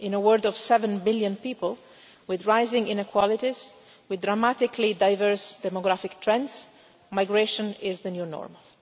In a world of 7 billion people with rising inequalities, with dramatically diverse demographic trends, migration is the new normal